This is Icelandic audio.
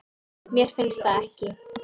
Mér finnst það ekki.